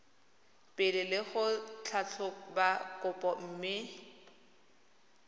pele go tlhatlhoba kopo mme